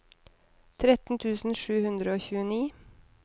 tretten tusen sju hundre og tjueni